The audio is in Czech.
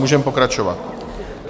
Můžeme pokračovat.